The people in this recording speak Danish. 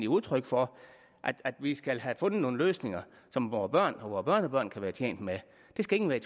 udtryk for at vi skal have fundet nogle løsninger som vore børn og børnebørn kan være tjent med det skal ingen være